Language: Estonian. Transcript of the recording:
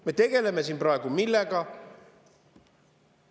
Me tegeleme siin praegu millega?